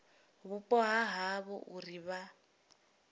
vhupo ha havho uri vha